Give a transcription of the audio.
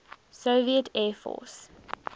soviet air force